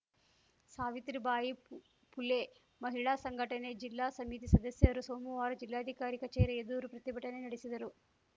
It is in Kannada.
ಸಾವಿತ್ರಿ ಬಾಯಿ ಪು ಪುಲೆ ಮಹಿಳಾ ಸಂಘಟನೆ ಜಿಲ್ಲಾ ಸಮಿತಿ ಸದಸ್ಯರು ಸೋಮುವಾರ ಜಿಲ್ಲಾಧಿಕಾರಿ ಕಚೇರಿ ಎದುರು ಪ್ರತಿಭಟನೆ ನಡೆಸಿದರು